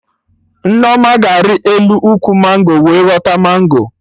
Nneoma ga-ari elu ụkwụ mango wee ghọta mango